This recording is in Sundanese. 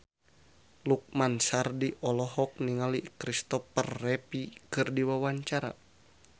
Lukman Sardi olohok ningali Kristopher Reeve keur diwawancara